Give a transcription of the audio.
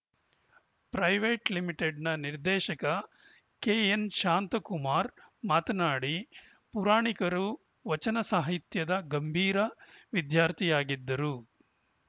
private ಲಿಮಿಟೆಡ್‌ನ ನಿರ್ದೇಶಕ ಕೆಎನ್‌ಶಾಂತಕುಮಾರ್‌ ಮಾತನಾಡಿ ಪುರಾಣಿಕರು ವಚನ ಸಾಹಿತ್ಯದ ಗಂಭೀರ ವಿದ್ಯಾರ್ಥಿಯಾಗಿದ್ದರು